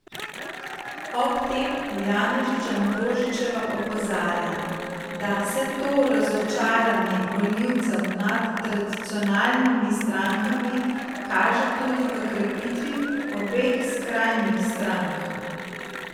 Ob tem Janežič Ambrožičeva opozarja, da se to razočaranje volivcev nad tradicionalnimi strankami kaže tudi v krepitvi obeh skrajnih strank.